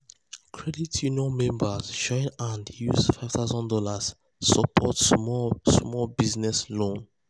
credit union members join hand use five thousand dollars support small small business loan.